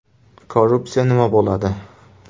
Korrupsiya nima bo‘ladi?